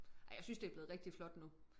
Ej jeg synes det blevet rigtig flot nu